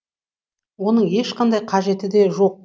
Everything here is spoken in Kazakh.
оның ешқандай қажеті де жоқ